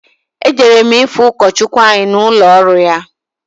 Ejere m ifụ ụkọchụkwụ anyị n'ụlọ ọrụ ya.